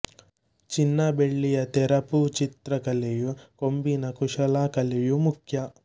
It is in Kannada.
ಚಿನ್ನ ಬೆಳ್ಳಿಯ ತೆರಪು ಚಿತ್ರ ಕಲೆಯೂ ಕೊಂಬಿನ ಕುಶಲ ಕಲೆಯೂ ಮುಖ್ಯ